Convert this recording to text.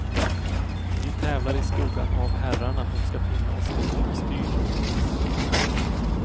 Vi tävlar i skuggan av herrarna och ska finna oss i att dom styr.